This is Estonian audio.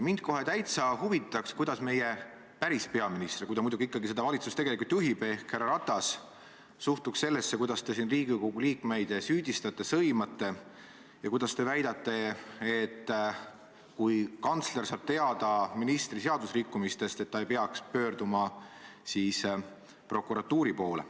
Mind kohe päris huvitaks, kuidas meie päris peaminister – kui ta muidugi seda valitsust ikkagi tegelikult juhib – ehk härra Ratas suhtuks sellesse, kuidas te siin Riigikogu liikmeid süüdistate, sõimate ja kuidas te väidate, et kui kantsler saab teada ministri seadusrikkumistest, siis ta ei peaks pöörduma prokuratuuri poole.